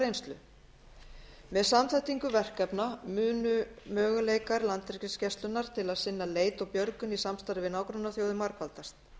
reynslu með samþættingu verkefna munu möguleikar landhelgisgæslunnar til að sinna leit og björgun í samstarfi við nágrannaþjóðir margfaldast